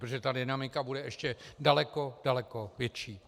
Protože ta dynamika bude ještě daleko, daleko větší.